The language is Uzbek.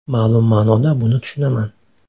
Ma’lum ma’noda buni tushunaman.